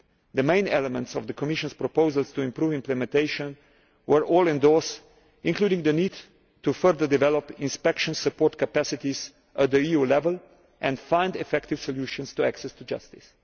The main elements of the Commission's proposals to improve implementation were all endorsed, including the need to further develop inspection support capacities at EU level and find effective solutions to access to justice.